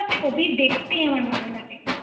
ওনার ছবি দেখতেই আমার ভালো লাগে ৷